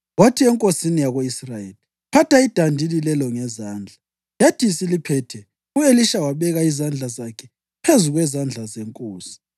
Wathi enkosini yako-Israyeli, “Phatha idandili lelo ngezandla.” Yathi isiliphethe, u-Elisha wabeka izandla zakhe phezu kwezandla zenkosi.